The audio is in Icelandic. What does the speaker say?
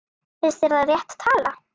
Finnst þér það rétt tala?